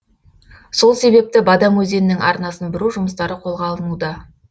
сол себепті бадам өзенінің арнасын бұру жұмыстары қолға алынуда